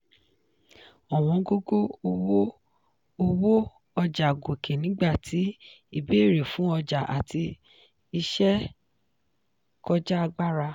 ọ̀wọ́ngógó owó owó ọjà gòkè nígbà tí ìbéèrè fún ọjà àti iṣẹ́ kọjá agbára